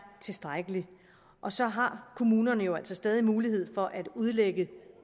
tilstrækkelig og så har kommunerne jo altså stadig mulighed for at udlægge